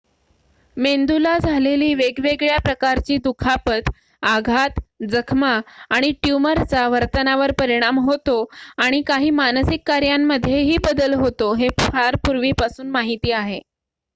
मेंदूला झालेली वेगवेगळ्या प्रकारची दुखापत आघात जखमा आणि ट्यूमरचा वर्तनावर परिणाम होतो आणि काही मानसिक कार्यांमध्येही बदल होतो हे फार पूर्वीपासून माहिती आहे